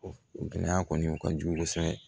O gɛlɛya kɔni o ka jugu kosɛbɛ